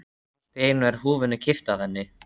Allt í einu er húfunni kippt af henni!